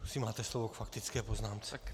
Prosím, máte slovo k faktické poznámce.